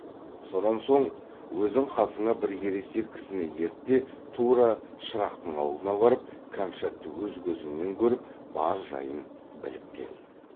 сонан соң өзің қасыңа бір ересек кісіні ерт те тура шырақтың аулына барып кәмшатты өз көзіңмен көріп бар жайын біліп кел